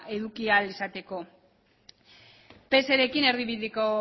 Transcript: eduki ahal izateko pserekin erdibideko